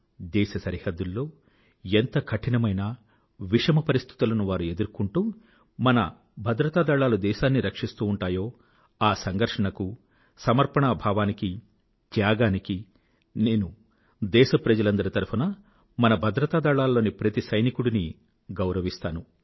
దేశ సరిహద్దుల్లో ఎంత కఠినమైన విషమ మరిస్థితులను వారు ఎదుర్కొంటూ మన భద్రతా దళాలు దేశాన్ని రక్షిస్తూ ఉంటాయో ఆ సంఘర్షణకూ సమర్పణా భావానికీ త్యాగానికి నేను దేశ ప్రజలందరి తరఫునా మన భద్రతా దళాలలోని ప్రతి సైనికుడినీ నేను గౌరవిస్తాను